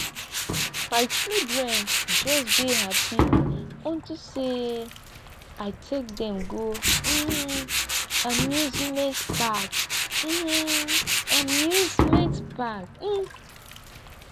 my children just dey happy unto say i take dem go um amusement park um amusement park um